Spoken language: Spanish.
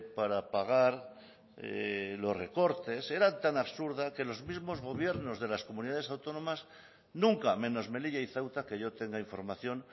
para pagar los recortes era tan absurda que los mismos gobiernos de las comunidades autónomas nunca menos melilla y ceuta que yo tenga información